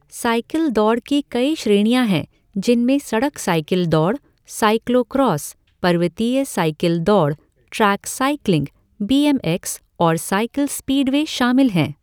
Cycle दौड़ की कई श्रेणियाँ हैं जिनमें सड़क साइकिल दौड़, साइक्लो क्रॉस, पर्वतीय साइकिल दौड़, track cycling, B M X और साइकिल स्पीडवे शामिल हैं।